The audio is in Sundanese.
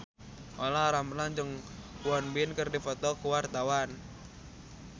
Olla Ramlan jeung Won Bin keur dipoto ku wartawan